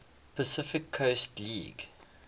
pacific coast league